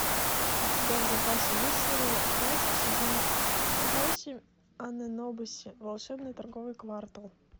у тебя в запасе есть серия пять сезона восемь абэнобаси волшебный торговый квартал